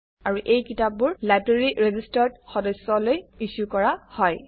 আৰু এই কিতাপবোৰ লাইব্ৰেৰীৰ ৰেজিষ্টাৰ্ড সদস্যলৈ ইছ্যু কৰা হয়